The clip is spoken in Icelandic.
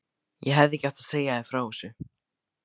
Ég hefði ekki átt að segja þér frá þessu